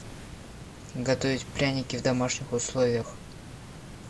готовить пряники в домашних условиях